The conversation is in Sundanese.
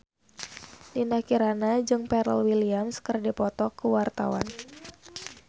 Dinda Kirana jeung Pharrell Williams keur dipoto ku wartawan